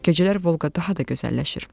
Gecələr Volqa daha da gözəlləşir.